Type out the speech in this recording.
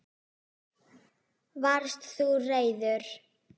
Varst þú reiður?